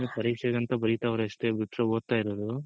ಅವ್ರು ಪರೀಕ್ಷೆ ಗ್ ಅಂತ ಮಾತ್ರ ಬರಿತಾವ್ರೆ ಅಷ್ಟೇ ಬಿಟ್ರೆ ಓದ್ತಾ ಇರೋದು